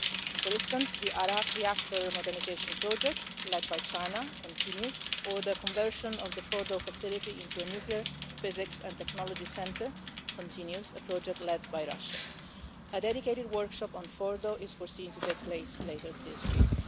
For instance, the Arak reactor modernisation project led by China continues, as does the conversion of the Fordow facility into a Nuclear Physics and Technology Centre, a project led by Russia. A dedicated workshop on Fordow is foreseen to take place later this week.